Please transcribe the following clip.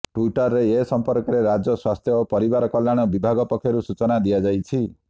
ଟ୍ୱିଟରରେ ଏ ସମ୍ପର୍କରେ ରାଜ୍ୟ ସ୍ୱାସ୍ଥ୍ୟ ଓ ପରିବାର କଲ୍ୟାଣ ବିଭାଗ ପକ୍ଷରୁ ସୂଚନା ଦିଆଯାଇଛି